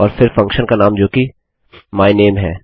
और फिर फंक्शन का नाम जोकि मायनेम है